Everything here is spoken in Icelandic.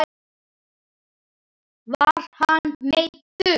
Var hann meiddur?